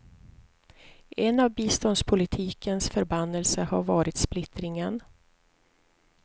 En av biståndspolitikens förbannelser har varit splittringen.